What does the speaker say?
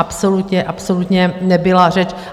Absolutně, absolutně nebyla řeč.